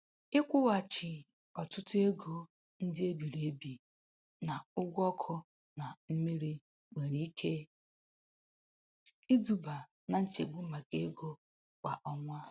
Ịkwụghachi ọtụtụ ego ndị e biri ebi na ụgwọ ọkụ na mmiri nwere ike iduba na nchegbu maka ego kwa ọnwa.